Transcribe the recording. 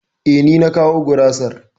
E, ni na kawo gurasar.